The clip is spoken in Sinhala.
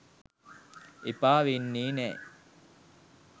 එපා වෙන්නෙ නෑ.